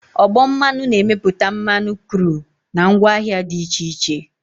Ọgbọ mmanụ na-emepụta mmanụ kru na ngwaahịa dị iche iche